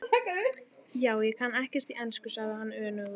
Já, ég kann ekkert í ensku, sagði hann önugur.